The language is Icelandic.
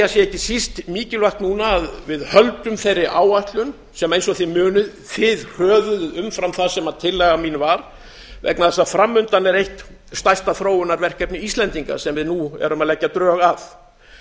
ekki síst mikilvægt núna að við höldum þeirri áætlun sem eins og þið munið þið hröðuðuð umfram það sem tillaga mín var vegna þess að fram undan er eitt stærsta þróunarverkefni íslendinga sem við nú erum að leggja drög að